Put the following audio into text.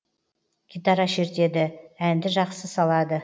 гитара шертеді әнді жақсы салады